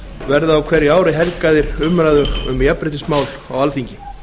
verði á hverju ári helgaðir umræðum um jafnréttismál á alþingi